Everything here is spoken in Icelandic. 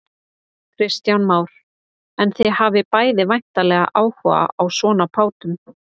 Kristján Már: En þið hafið bæði væntanlega áhuga á svona bátum?